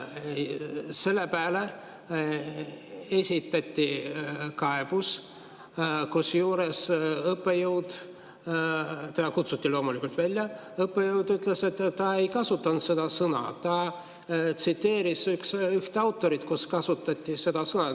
Selle peale esitati kaebus, kusjuures õppejõud, kes kutsuti loomulikult välja, ütles, et ta ei kasutanud seda sõna, ta tsiteeris ühte autorit, kes kasutas seda sõna.